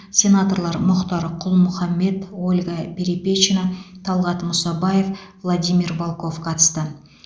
сенаторлар мұхтар құл мұхаммед ольга перепечина талғат мұсабаев владимир волков қатысты